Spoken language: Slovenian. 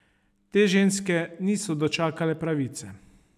Te ženske niso dočakale pravice.